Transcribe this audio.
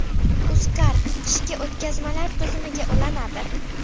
UzCard Qiwi o‘tkazmalar tizimiga ulanadi .